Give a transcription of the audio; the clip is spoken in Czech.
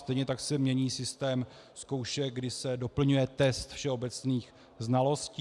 Stejně tak se mění systém zkoušek, kdy se doplňuje test všeobecných znalostí.